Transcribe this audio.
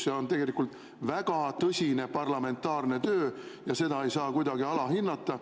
See on tegelikult väga tõsine parlamentaarne töö ja seda ei saa kuidagi alahinnata.